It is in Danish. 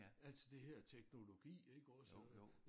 Altså det her teknologi ikke også øh